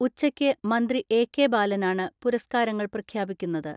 ഉച്ചയ്ക്ക് മന്ത്രി എ.കെ ബാലനാണ് പുരസ്കാരങ്ങൾ പ്രഖ്യാപിക്കുന്നത്.